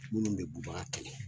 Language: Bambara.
Munnu be bubaga kɛlɛ